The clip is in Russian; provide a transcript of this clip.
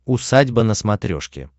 усадьба на смотрешке